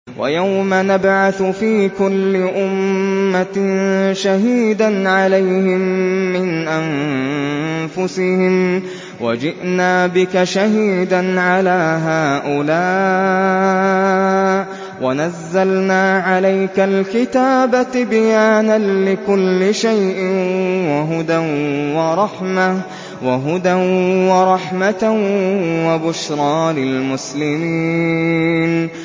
وَيَوْمَ نَبْعَثُ فِي كُلِّ أُمَّةٍ شَهِيدًا عَلَيْهِم مِّنْ أَنفُسِهِمْ ۖ وَجِئْنَا بِكَ شَهِيدًا عَلَىٰ هَٰؤُلَاءِ ۚ وَنَزَّلْنَا عَلَيْكَ الْكِتَابَ تِبْيَانًا لِّكُلِّ شَيْءٍ وَهُدًى وَرَحْمَةً وَبُشْرَىٰ لِلْمُسْلِمِينَ